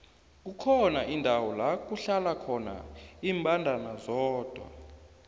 kukhona indawo lakuhlala khona imbandana zodwa